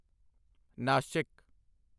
Nashik